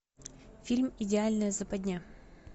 фильм идеальная западня